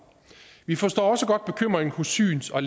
vi forstår også godt bekymringen hos syns og